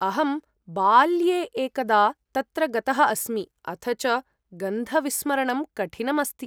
अहं बाल्ये एकदा तत्र गतः अस्मि अथ च गन्धविस्मरणं कठिनम् अस्ति।